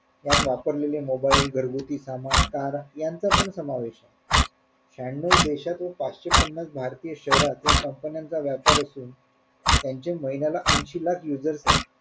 त्यात वापरलेलं mobile घरगुती सामान car यांचा पण समावेश होतो शह्यान्नव देशातून पाचशे पन्नास भारतीय शहरात या कंपन्यांचा व्यापार असून त्यांचे महिन्याला ऐन्शी लाख users येत